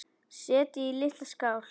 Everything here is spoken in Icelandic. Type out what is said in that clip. Setjið í litla skál.